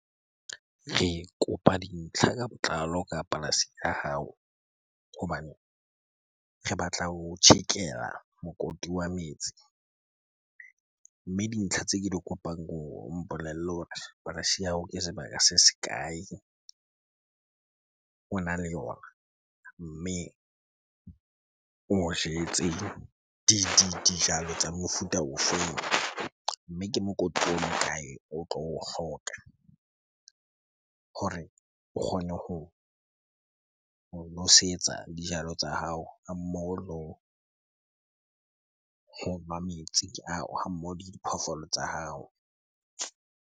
Re kopa dintlha ka botlalo ka polasi ya hao hobane re batla ho o tjhekela mokoti wa metsi. Mme dintlha tse ke di kopang ke hore o mpolelle hore polasi ya hao ke sebaka se se kae ona le yona? Mme o jetse dijalo tsa mofuta o feng? Mme ke mokoti o mo kae o tlo o hloka hore o kgone ho nosetsa dijalo tsa hao, ha mmoho ho nwa metsi ha mmoho le diphoofolo tsa hao.